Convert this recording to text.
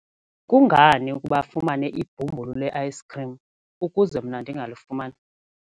Kungani ukuba afumane ibhumbulu le-ayisikhrim ukuze mna ndingalifumani?